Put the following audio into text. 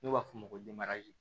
N'u b'a f'o ma ko